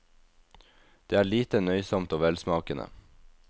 Det er lite, nøysomt og velsmakende.